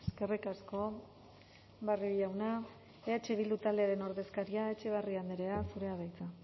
eskerrik asko barrio jauna eh bildu taldearen ordezkaria etxebarria andrea zurea da hitza